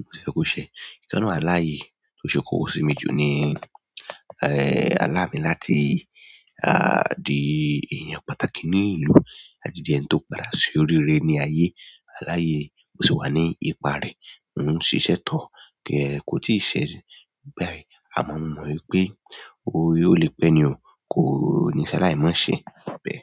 mo fẹ́ kó ṣẹ. Ìkan nínú àwọn àlá yìí tó ṣe kókó sí mi jù ni, àlá mi láti di èèyàn pàtàkì ní ìlú àti di ẹni tó padà ṣe oríire ní ayé. Àlá yìí mó sì wà ní ipa rẹ̀, mó ń ṣiṣẹ́ tọ̀ọ́ kò tí ì ṣẹ́ báyìí. Àmọ́ mo mọ̀ wípé ó le pẹ́ ni o. Kò ní ṣalàí mọ́ ṣẹ bẹ́ẹ̀.